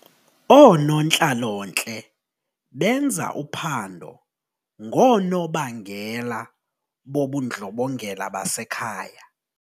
Oonontlalontle benza uphando ngoonobangela bobundlobongela basekhaya.